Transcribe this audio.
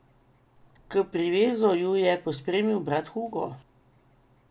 K privezu ju je pospremil brat Hugo.